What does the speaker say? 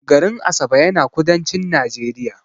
garin Asaba yana kudancin Najeriya